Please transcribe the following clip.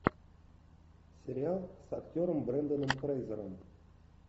сериал с актером бренданом фрейзером